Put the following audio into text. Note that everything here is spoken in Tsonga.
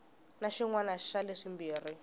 na xin wana xa leswimbirhi